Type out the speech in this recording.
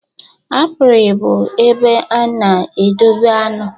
Apiary bụ ebe a na-edobe aṅụ.